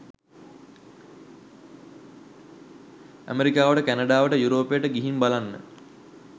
අමෙරිකාවට කෑනඩාවට යුරෝපෙට ගිහින් බලන්න.